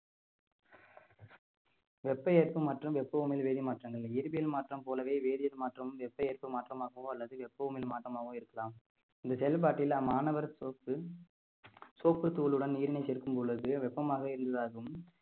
வெப்ப ஏற்ப்பும் மற்றும் வெப்பஉமிழ் வேதிமாற்றங்கள் இயற்பியல் மாற்றம் போலவே வேதியல் மாற்றம் வெப்ப ஏற்பும் மாற்றமாகவோ அல்லது வெப்பஉமிழ் மாற்றமாகவோ இருக்கலாம் இந்த செயல்பாட்டில அம்மாணவர் soap soap தூளுடன் நீரினை சேர்க்கும் பொழுது வெப்பமாக இருந்ததாகவும்